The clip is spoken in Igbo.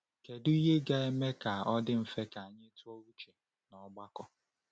Kedu ihe ga-eme ka o dị mfe ka anyị tụ uche n’ọgbakọ?